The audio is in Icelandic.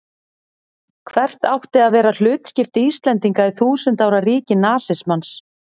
Hvert átti að vera hlutskipti Íslendinga í þúsund ára ríki nasismans?